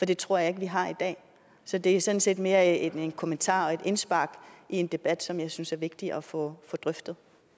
det tror jeg ikke vi har i dag så det er sådan set mere en kommentar og et indspark i en debat som jeg synes er vigtig at få drøftet